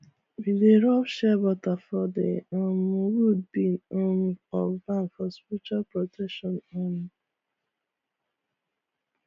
we dey rub shea butter for the um wood beam um of barn for spiritual protection um